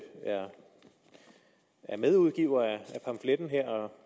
er medudgiver af pamfletten her og